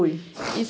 Fui. (assoar)